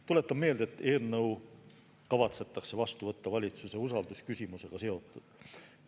Tuletan meelde, et eelnõu kavatsetakse vastu võtta valitsuse usaldusküsimusega seotult.